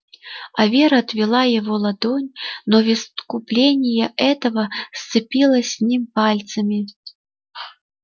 а вера отвела его ладонь но в искупление этого сцепилась с ним пальцами